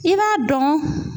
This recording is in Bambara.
I b'a dɔn